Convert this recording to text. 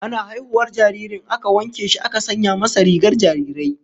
Ana haihuwar jaririn aka wanke shi aka sanya masa rigar jarirai